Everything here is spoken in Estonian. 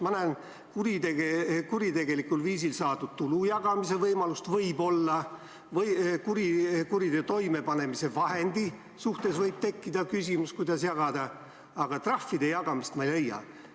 Ma võib-olla näen kuritegelikul viisil saadud tulu jagamise võimalust või kuriteo toimepanemise vahendi suhtes võib tekkida küsimus, kuidas jagada, aga trahvide jagamist ma ei leia.